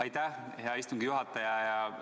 Aitäh, hea istungi juhataja!